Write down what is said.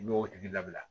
N y'o tigi labila